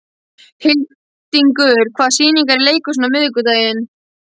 Hildingur, hvaða sýningar eru í leikhúsinu á miðvikudaginn?